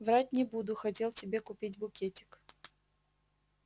врать не буду хотел тебе купить букетик